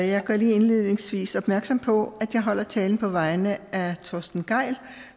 jeg gør lige indledningsvis opmærksom på at jeg holder talen på vegne af torsten gejl